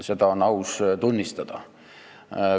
Seda on aus tunnistada.